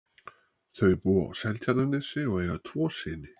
Þau búa á Seltjarnarnesi og eiga tvo syni.